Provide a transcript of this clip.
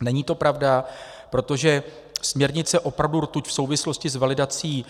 Není to pravda, protože směrnice opravdu rtuť v souvislosti s validací